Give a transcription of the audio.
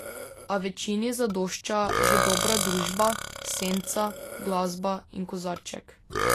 A večini zadošča že dobra družba, senca, glasba in kozarček ...